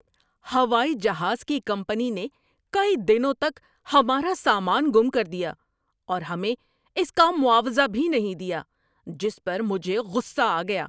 ہوائی جہاز کی کمپنی نے کئی دنوں تک ہمارا سامان گم کر دیا اور ہمیں اس کا معاوضہ بھی نہیں دیا، جس پر مجھے غصہ آ گیا۔